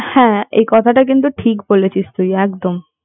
হ্যাঁ এ কথাটা কিন্তু তুই ঠিক বলেছিস একদম